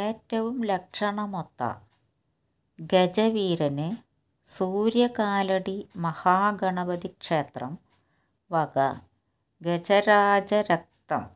ഏറ്റവും ലക്ഷണമൊത്ത ഗജവീരന് സൂര്യകാലടി മഹാഗണപതി ക്ഷേത്രം വക ഗജരാജരക്തം